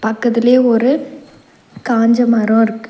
பக்கத்துலயே ஒரு காஞ்ச மரொ இருக்கு.